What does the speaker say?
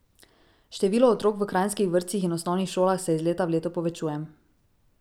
Število otrok v kranjskih vrtcih in osnovnih šolah se iz leta v leto povečuje.